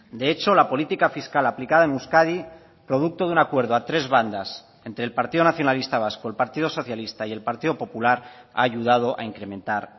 de hecho la política fiscal aplicada en euskadi producto de un acuerdo a tres bandas entre el partido nacionalista vasco el partido socialista y el partido popular ha ayudado a incrementar